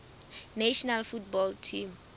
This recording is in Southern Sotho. national football team